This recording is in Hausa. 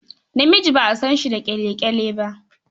Namiji ba a san shi da ƙyale-ƙyale ba.